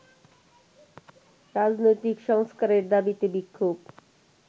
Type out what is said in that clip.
রাজনৈতিক সংস্কারের দাবিতে বিক্ষোভ